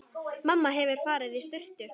Mamma hefur farið í sturtu.